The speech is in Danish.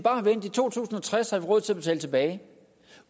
to tusind og tres har råd til at betale tilbage